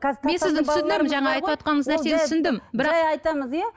жай айтамыз иә